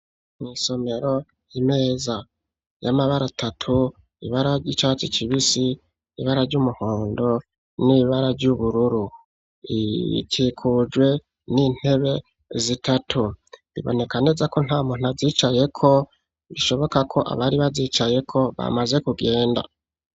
Mw'isomero, imeza y'amabara atatu, ibara ry’icatsi kibisi, ibara ry’umuhondo n’ibara ry’ubururu ikikujwe n'intebe zitatu, biboneka neza ko nta muntu azicayeko bishoboka ko abari bazicayeko bamaze kugenda.